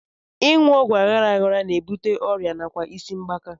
Ịṅụ ọgwụ aghara aghara na-ebute oké ọrịa nakwa isi mgbaaka